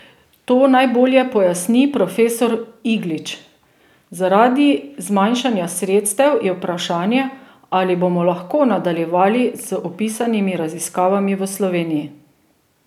To najbolje pojasni profesor Iglič: "Zaradi zmanjšanja sredstev je vprašanje, ali bomo lahko nadaljevali z opisanimi raziskavami v Sloveniji.